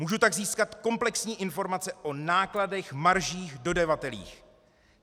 Můžu tak získat komplexní informace o nákladech, maržích, dodavatelích.